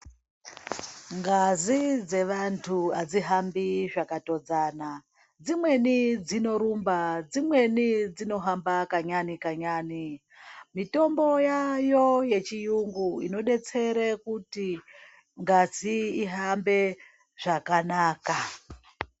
Ngazi dzevantu hadzihambi zvakatodzana, dzimweni dzino rumba, dzimweni dzinohamba kanyane kanyane .Mitombo yayo yechiyungu inodetsere kuti ngazi ihambe zvakanaka.